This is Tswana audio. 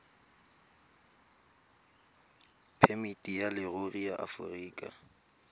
phemiti ya leruri ya aforika